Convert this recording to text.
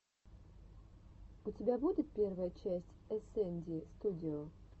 у тебя будет первая часть эсэнди студио